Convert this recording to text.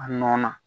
A nɔ na